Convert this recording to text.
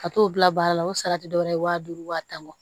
Ka t'o bila baara la o sara tɛ dɔwɛrɛ ye waa duuru wa tan ma